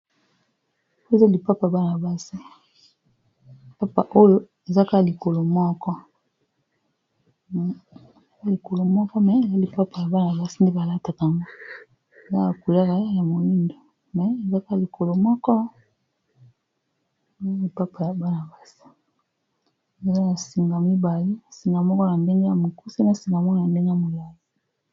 Lokolo moko eza lipapa ya bana basi nde balataka eza na langi ya moindo , singa moko na ndenge ya mokuse na singa musuzu ya ndenge ya moliali